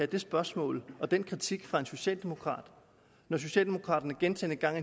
det spørgsmål og den kritik fra en socialdemokrat når socialdemokraterne gentagne gange